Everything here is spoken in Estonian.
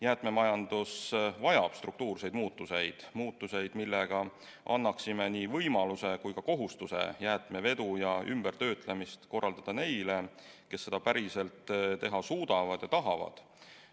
Jäätmemajandus vajab struktuurseid muutuseid – muutuseid, millega annaksime nii võimaluse kui ka kohustuse jäätmevedu ja ümbertöötlemist korraldada neile, kes seda päriselt teha suudavad ja tahavad.